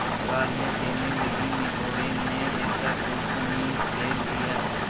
गालियाँ देने लगीनिगोडे़ ने ऐसा कुलच्छनी बैल दिया